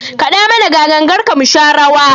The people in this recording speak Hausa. Kaɗa mana ga gangarka mu sha rawa!